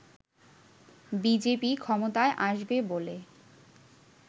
BJP ক্ষমতায় আসবে বলে